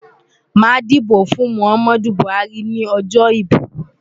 Màá dìbò fún Muhammad Buhari ní ọjọ́ ìbò.